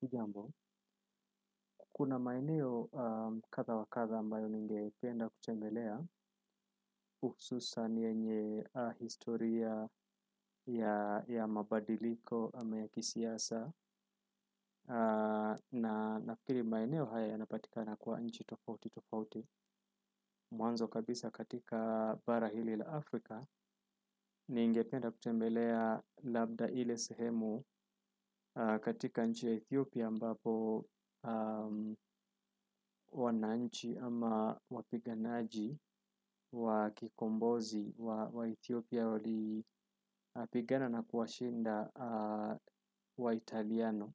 Hujambo, kuna maeneo kadhaa wa kadhaa ambayo ningependa kutembelea hususan yenye historia ya mabadiliko ama ya kisiasa na nafikiri maeneo haya yanapatikana kwa nchi tofauti tofauti. Mwanzo kabisa katika bara hili la Afrika ningependa kutembela labda ile sehemu katika nchi ya Ethiopia ambapo wananchi ama wapiganaji wakikombozi wa Ethiopia wali pigana na kuwashinda wa Italiano.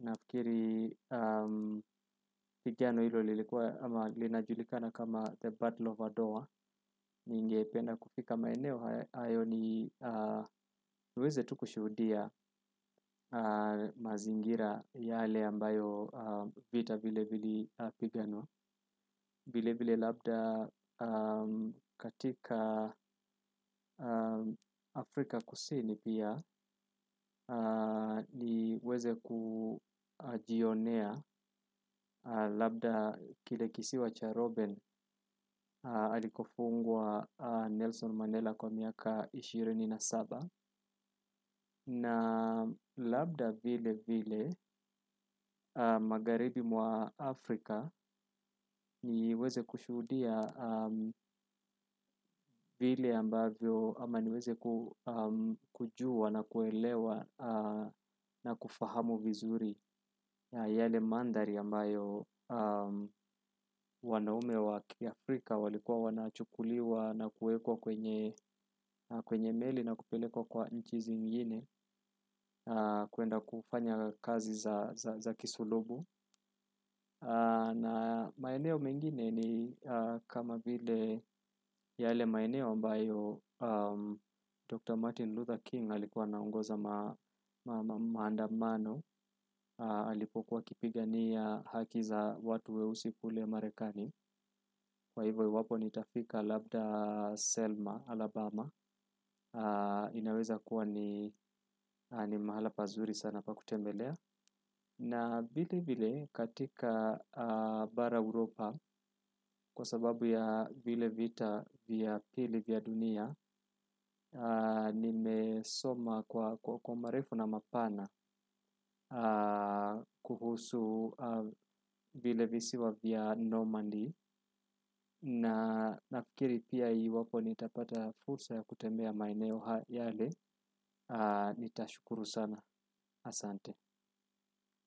Nafikiri pigano hilo linajulikana kama the battle of adwa ningependa kufika maeneo hayo niweze tu kushuhudia mazingira yale ambayo vita vile vile pigano vile vile labda katika Afrika kusini pia niweze kujionea labda kile kisiwa cha Robben alikofungwa Nelson Mandela kwa miaka ishirini na saba na labda vile vile magharibi mwa Afrika niweze kushuhudia vile ambavyo ama niweze kujua na kuelewa na kufahamu vizuri yale mandhari ambayo wanaume wa Afrika walikuwa wanachukuliwa na kuwekwa kwenye meli na kupelekwa kwa nchi zingine kuenda kufanya kazi za kisulubu. Na maeneo mengine ni kama vile yale maeneo ambayo Dr. Martin Luther King alikuwa anaongoza maandamano alipokuwa akipigania haki za watu weusi kule Marekani kwa hivyo iwapo nitafika labda Selma, Alabama ninaweza kuwa ni mahala pazuri sana pa kutembelea na vile vile katika bara Europa kwa sababu ya vile vita vya pili vya dunia nimesoma kwa marefu na mapana kuhusu vile visiwa vya Normandy na nafikiri pia iwapo nitapata fursa ya kutembea maeneo yale nitashukuru sana. Asante.